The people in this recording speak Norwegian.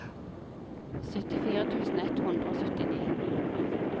syttifire tusen ett hundre og syttini